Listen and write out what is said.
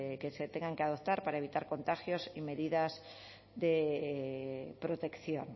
que se tengan que adoptar para evitar contagios y medidas de protección